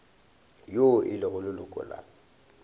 yo e lego leloko la